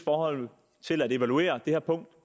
til at evaluere det her punkt